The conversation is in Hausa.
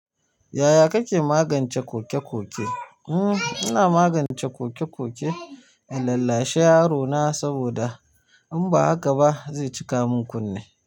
Yaya kake magance koke koke em ina magance koke koke in lallashi yarona saboda in ba haka ba zai cika min kunne.